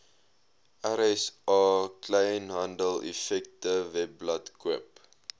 rsa kleinhandeleffektewebblad koop